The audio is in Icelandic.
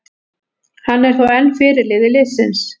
Hann er þó enn fyrirliði liðsins.